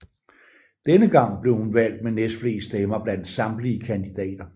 Denne gang blev hun valgt med næstflest stemmer blandt samtlige kandidater